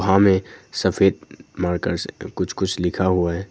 यहां में सफेद मारकर से कुछ कुछ लिखा हुआ है।